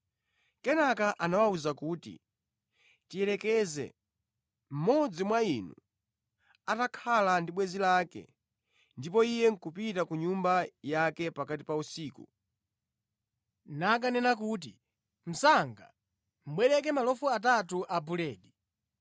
Kenaka anawawuza kuti, “Tiyerekeze: Mmodzi mwa inu atakhala ndi bwenzi lake, ndipo iye nʼkupita ku nyumba yake pakati pa usiku, nakanena kuti, ‘Mnzanga, bwereke malofu atatu abuledi,